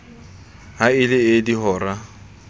ha e le ee dihora